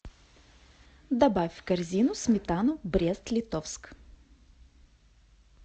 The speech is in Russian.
добавь в корзину сметану брест литовск